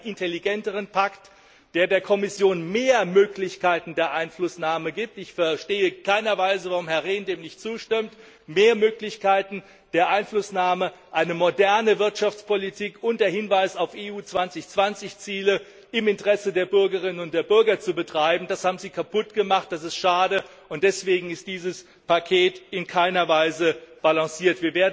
Wir wollten einen intelligenteren Pakt, der der Kommission mehr Möglichkeiten der Einflussnahme gibt. Ich verstehe in keiner Weise, warum Herr Rehn dem nicht zustimmt, mehr Möglichkeiten der Einflussnahme, eine moderne Wirtschaftspolitik unter Hinweis auf EU 2020 Ziele im Interesse der Bürgerinnen und Bürger zu betreiben. Das haben Sie kaputt gemacht, das ist schade! Deswegen ist dieses Paket in keiner Weise balanciert.